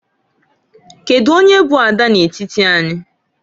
Kedu onye bụ ada n'etiti anyị?